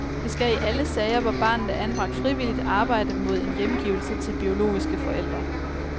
Vi skal i alle sager, hvor barnet er anbragt frivilligt arbejde mod en hjemgivelse til biologiske forældre.